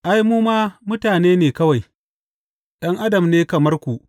Ai, mu ma mutane ne kawai, ’yan adam ne kamar ku.